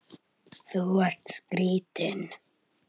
Þetta eru því ekki náttúruleg áhrif heldur sálfræðileg.